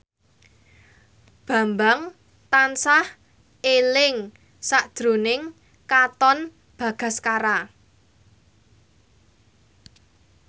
Bambang tansah eling sakjroning Katon Bagaskara